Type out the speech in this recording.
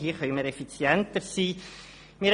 Hier könnten wir effizienter sein.